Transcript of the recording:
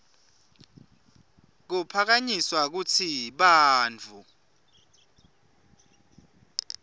kuphakanyiswa kutsi bantfu